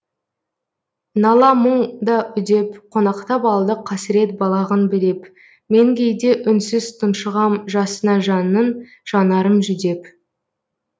нала мұң да үдеп қонақтап алды қасірет балағын білеп мен кейде үнсіз тұншығам жасына жанның жанарым жүдеп